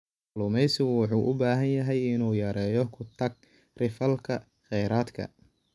Kalluumeysigu wuxuu u baahan yahay inuu yareeyo ku-takri-falka kheyraadka.